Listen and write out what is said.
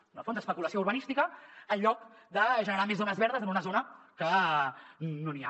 en el fons especulació urbanística en lloc de generar més zones verdes en una zona que no n’hi ha